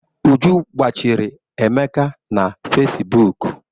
Uju gbachiri Emeka na Fesibuuku.